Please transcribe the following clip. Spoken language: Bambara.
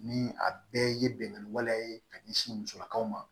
Ni a bɛɛ ye bɛnkan waleya ye ka ɲɛsin musolakaw ma